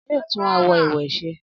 Anulẹ̀ yóò tún àwo-ìwẹ̀ ṣe.